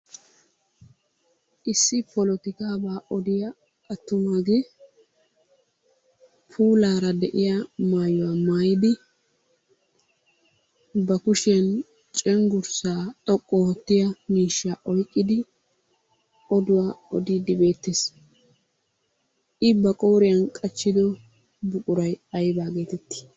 Issi polotikkaabaa odiya attumaagee puulaara de'iya maayuwa maayidi ba kushiyan cenggurssa xoqqu oottiya miishshaa oyqqidi odduwa odiidi beetees. I ba qooriyan qachchido buqquray aybba geetettii?